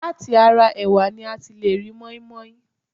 Láti ara ẹ̀wà ni a ti lè ri mọ́inmọ́in